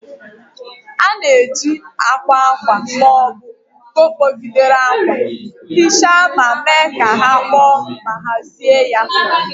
A na-eji akwa akwa akwa ma ọ bụ nko kpọgidere akwa nhicha ma mee ka ha kpoo ma hazie ya.